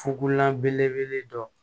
Fukugula belebele dɔ